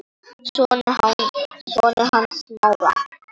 Sonur hans Smára.